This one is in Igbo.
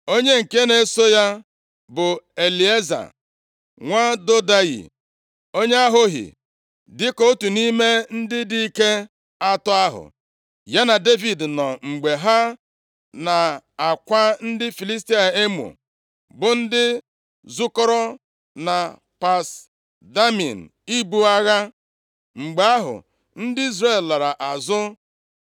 Onye nke na-eso ya bụ Elieza, nwa Dodayi, onye Ahohi. Dịka otu nʼime ndị dike atọ ahụ, ya na Devid nọ mgbe ha na-akwa ndị Filistia emo, bụ ndị zukọrọ na Pas Damim ibu agha. + 23:9 I lee anya nʼakwụkwọ \+xt 1Ih 11:13\+xt* nʼasụsụ Hibru Pas Damim pụtara gbakọrọ nʼebe ahụ Mgbe ahụ, ndị Izrel lara azụ,